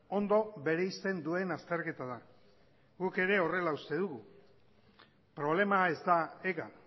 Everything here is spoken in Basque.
ondo bereizten duen azterketa da guk ere horrela uste dugu problema ez da ega